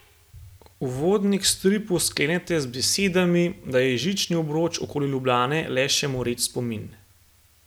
Uvodnik k stripu sklenete z besedami, da je žični obroč okoli Ljubljane le še moreč spomin.